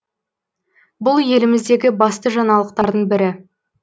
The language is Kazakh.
бұл еліміздегі басты жаңалықтардың бірі